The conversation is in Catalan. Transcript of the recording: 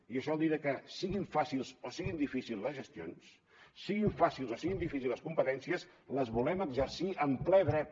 i això vol dir que siguin fàcils o siguin difícils les gestions siguin fàcils o siguin difícils les competències les volem exercir amb ple dret